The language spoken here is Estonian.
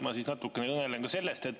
Ma natukene kõnelen sellest.